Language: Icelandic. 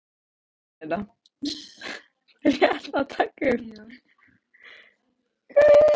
Hún stendur í dyrunum.